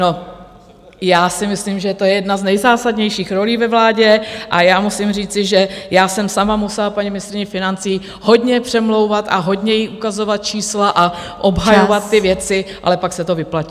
No, já si myslím, že to je jedna z nejzásadnějších rolí ve vládě, a já musím říci, že já jsem sama musela paní ministryni financí hodně přemlouvat a hodně jí ukazovat čísla a obhajovat... ty věci, ale pak se to vyplatilo.